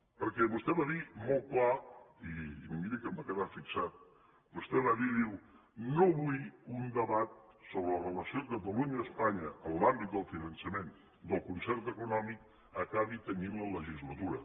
perquè vostè va dir molt clar i miri que em va quedar fixat vostè va dir diu no vull que un debat sobre la relació catalunya espanya en l’àmbit del finançament del concert econòmic acabi tenyint la legislatura